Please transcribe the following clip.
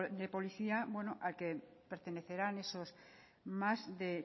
de policía al que pertenecerán esos más de